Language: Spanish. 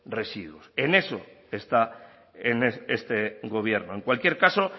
residuos en eso está en este gobierno en cualquier caso